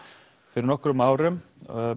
fyrir nokkrum árum